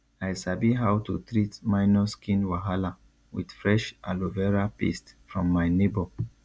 i sabi how to treat minor skin wahala with fresh aloe vera paste from my neighbor